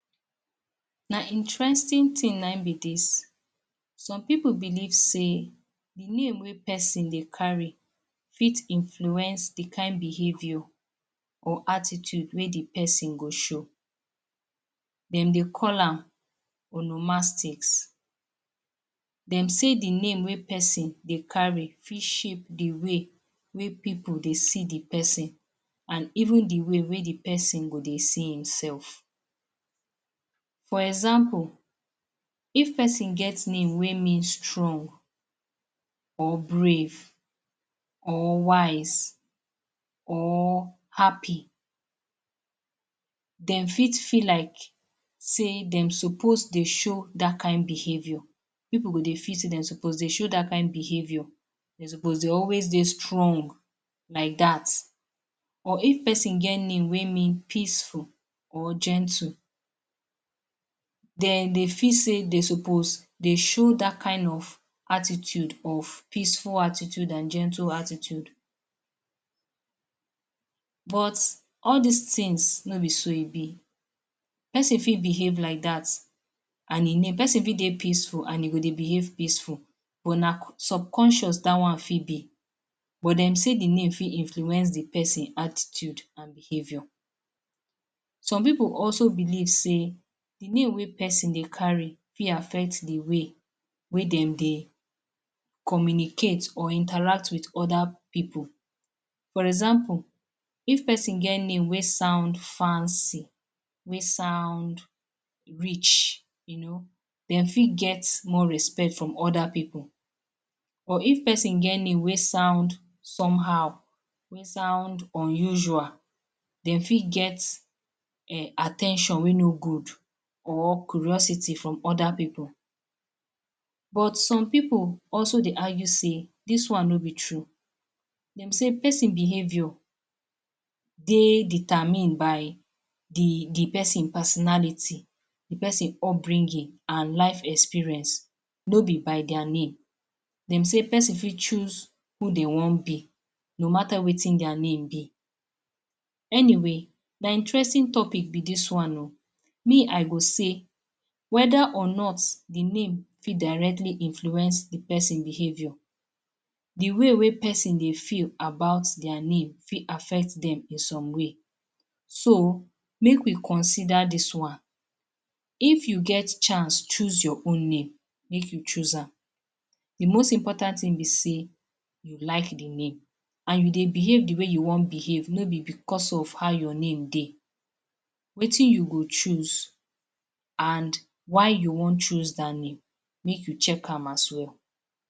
Na interesting tin na ein be dis. Some pipu believe sey the name wey peson dey carry fit influence the kain behaviour or attitude wey the pesin go show. Dem dey call am Onomastics. Dem say the name wey pesin dey carry fit shape the way wey pipu dey see the pesin, an even the way wey the pesin go dey see himself. For example, if pesin get name wey mean strong, or brave, or wise, or happy, dem fit feel like sey dem suppose dey show dat kain behaviour. Pipu go dey feel sey de suppose dey show dat kain behaviour. De suppose dey always dey strong like dat. Or if pesin get name wey mean peaceful or gentle, den dey feel sey de suppose dey show dat kain of attitude of peaceful attitude an gentle attitude. But all dis tins, no be so e be. Pesin fit behave like dat, an e name. Pesin fit dey peaceful an e go dey behave peaceful but na subconscious dat one fit da. But dem say the name fit influence the pesin attitude an behaviour. Some pipu also believe sey the name wey pesin dey carry fit affect the way wey dem dey communicate or interact with other pipu. For example, if pesin get name wey sound fancy, wey sound rich, you know, de fit get more respect from other pipu. Or if pesin get name wey sound somehow, wey sound unusual, de fit get um at ten tion wey no good or curiosity from other pipu. But some pipu also dey argue sey dis one no be true. Dem say pesin behaviour dey determine by the the pesin personality, the peson upbringing, an life experience, no be by dia name. Dem say pesin fit choose who de wan be no matter wetin dia name be. Anyway, na interesting topic be dis one oh. Me, I go say, whether or not the name fit directly influence the pesin behaviour, the way wey pesin dey feel about dia name fit affect dem in some way. So, make we consider dis one. If you get chance choose your own name, make you choose am. The most important tin be sey you like the name, an you dey behave the way you wan behave, no be becos of how your name dey. Wetin you go choose an why you wan choose dat name, make you check am as well.